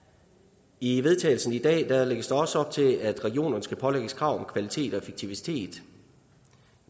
i vedtagelse i dag lægges der også op til at regionerne skal pålægges krav om kvalitet og effektivitet